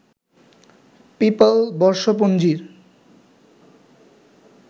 papal বর্ষপঞ্জির